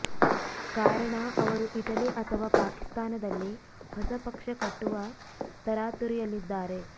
ಕಾರಣ ಅವರು ಇಟಲಿ ಅಥವಾ ಪಾಕಿಸ್ತಾನದಲ್ಲಿ ಹೊಸ ಪಕ್ಷ ಕಟ್ಟುವ ತರಾತುರಿಯಲ್ಲಿದ್ದಾರೆ